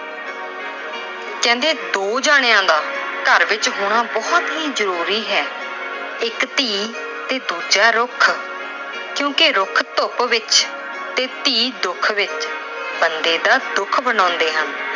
ਕਹਿੰਦੇ ਦੋ ਜਣਿਆਂ ਦਾ ਘਰ ਵਿੱਚ ਹੋਣਾ ਬਹੁਤ ਹੀ ਜ਼ਰੂਰੀ ਹੈ- ਇੱਕ ਧੀ ਤੇ ਦੂਜਾ ਰੁੱਖ ਕਿਉਂਕਿ ਰੁੱਖ ਧੁੱਪ ਵਿੱਚ ਤੇ ਧੀ ਦੁੱਖ ਵਿੱਚ ਬੰਦੇ ਦਾ ਦੁੱਖ ਵੰਡਾਉਂਦੇ ਹਨ।